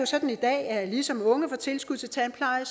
sådan i dag at ligesom unge får tilskud til tandpleje